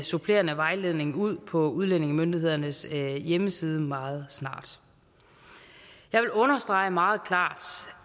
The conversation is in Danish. supplerende vejledning ud på udlændingemyndighedernes hjemmeside meget snart jeg vil understrege meget klart